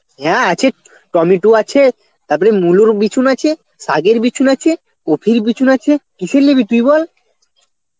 হ্যাঁ আছে, টমেটো আছে তারপরে মুলোর বিচুন আছে, শাগের বিচুন আছে কোফির বিচুন আছে, কিসের নিবি তুই বল?